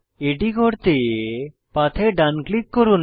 এটি করতে পাথে ডান ক্লিক করুন